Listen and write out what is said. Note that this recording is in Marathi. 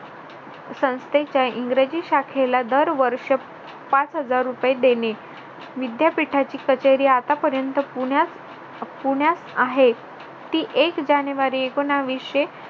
संस्थेचे इंग्रजी शाखेला दर वर्ष पाच हजार रुपये देणे विद्यापीठाची कचेरी आत्तापर्यंत पुण्यात पुण्यात आहे ती एक जानेवारी एकोनाविशे